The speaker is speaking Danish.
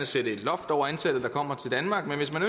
sætte et loft over antallet der kommer til danmark men hvis man